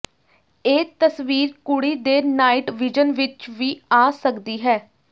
ਇਹ ਤਸਵੀਰ ਕੁੜੀ ਦੇ ਨਾਈਟ ਵਿਜ਼ਨ ਵਿਚ ਵੀ ਆ ਸਕਦੀ ਹੈ